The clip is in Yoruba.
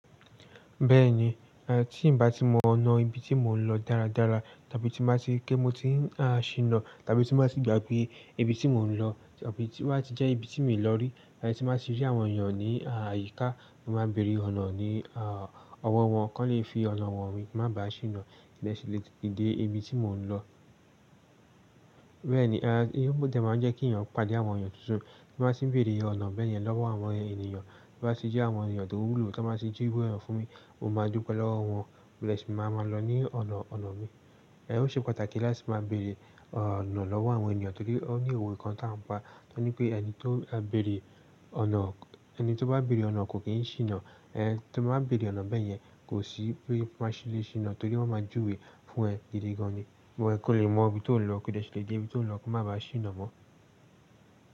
Bẹ́ẹ̀ni, tí n bá ti mọ ọ̀nà ibi tí mò ń lọ dára dára, tàbí tí máa ti kí mo ti ń ṣìnà, tàbí tí máa ti gbà pé ibi tí mò ń lọ tàbí tí wá ti jẹ́ ibi tí mi lọ rí, tí máa sì rí àwọn èèyàn ní àyíká, mo máa bèrè ọ̀nà ní ọwọ́ wọn, kí wọ́n lè fi ọ̀nà wọn wí, má bá ṣìnà lẹ́sẹ̀ lè dé ibi tí mò ń lọ. Bẹ́ẹ̀ni, ohun tò jẹ́ máa ń jẹ́ kí èèyàn pàdé àwọn èèyàn tuntun. Bí màá sì ń bèrè ọ̀nà bẹ́yẹn lọ́wọ́ àwọn ènìyàn, bí màá sì jẹ́ àwọn èèyàn tó wúlò tí wọ́n bá sì jú ìwé ọ̀nà fún mi, mo máa dúpẹ́ lọ́wọ́ wọn modẹ̀ sì máa ma lọ ní ọ̀nà ọ̀nà mi. Ẹ ò ṣe pàtàkì láti máa bèrè ọ̀nà lọ́wọ́ àwọn ènìyàn torí ó ní ìwé kan tá ń pa tó ní pé ẹni tó bá bèrè ọ̀nà kò kì í ṣìnà. Tó bá bèrè ọ̀nà bẹ́ẹ̀ yẹn kò sí pé má ṣì lè ṣìnà torí wọ́n máa júwe fún ẹ gidi gan ni. Bọ̀ ẹ́ kó lè mọ ibi tó lọ́kù lọ́kù má bá ṣìnà mọ́.